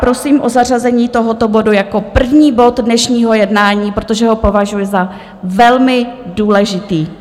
Prosím o zařazení tohoto bodu jako první bod dnešního jednání, protože ho považuji za velmi důležitý.